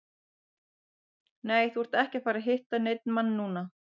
Nei, þú ert ekki að fara að hitta neinn mann núna.